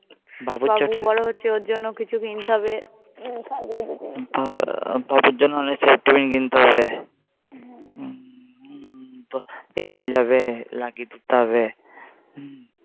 বাবুর চোটি বাবুও বড়ো হচ্ছে ওর জন্য তো কিছু কিনতে হবে সাজগোজের জিনিস কিন্তু বাবুর জন্য হু হু School যাবে হু